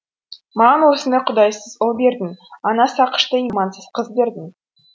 маған осындай құдайсыз ұл бердің ана сақыштай имансыз қыз бердің